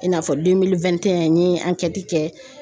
I n'a fɔ n ye kɛ